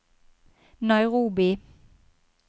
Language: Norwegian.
Nairobi